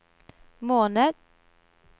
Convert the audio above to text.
måned